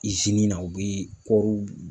na u bi kɔriw